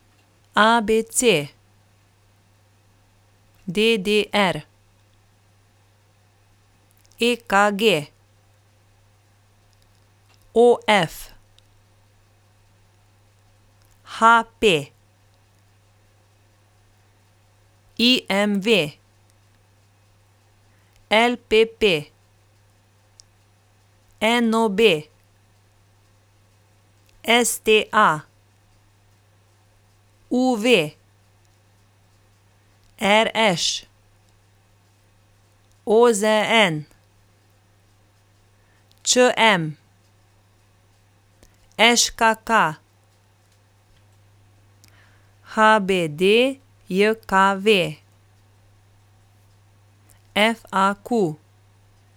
A B C; D D R; E K G; O F; H P; I M V; L P P; N O B; S T A; U V; R Š; O Z N; Č M; Ž K K; H B D J K V; F A Q.